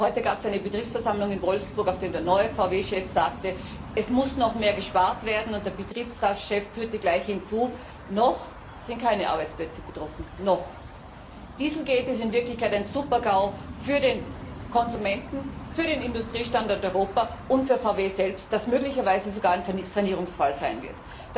Heute gab es eine Betriebsversammlung in Wolfsburg, auf der der neue VW Chef sagte Es muss noch mehr gespart werden, und der Betriebsratschef fügte gleich hinzu Noch sind keine Arbeitsplätze betroffen noch. Dieselgate ist in Wirklichkeit ein Super GAU für den Konsumenten, für den Industriestandort Europa und für VW selbst, das möglicherweise sogar ein Sanierungsfall sein wird.